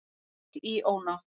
Féll í ónáð